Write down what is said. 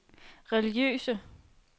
religiøse